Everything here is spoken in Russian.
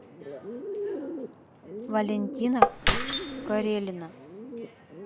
валентина карелина